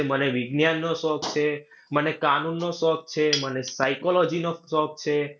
મને વિજ્ઞાનનો શોખ છે, મને કાનૂનનો શોખ છે, મને psychology નો શોખ છે